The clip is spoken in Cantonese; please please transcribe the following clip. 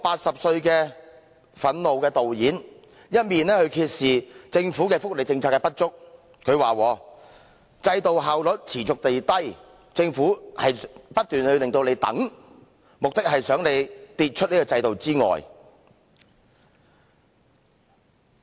這位憤怒的80歲導演揭示了政府福利政策的不足，他說"制度效率持續低下，政府不斷叫人等待，目的是想人跌出這個制度之外"。